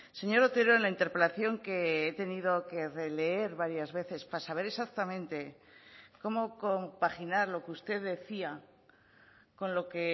señor otero en la interpelación que he tenido que releer varias veces para saber exactamente cómo compaginar lo que usted decía con lo que